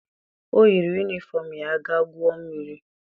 O yiri yunifọm ya ga guo mmiri.